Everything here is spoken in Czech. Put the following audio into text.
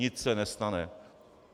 Nic se nestane.